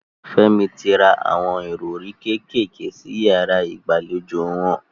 Fẹ́mi ti ra awọn ìrọrí kékèké sí yàrá ìgbàlejò wọn.